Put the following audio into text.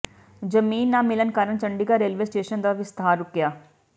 ਜ਼ਮੀਨ ਨਾ ਮਿਲਣ ਕਾਰਨ ਚੰਡੀਗੜ੍ਹ ਰੇਲਵੇ ਸਟੇਸ਼ਨ ਦਾ ਵਿਸਤਾਰ ਰੁਕਿਆ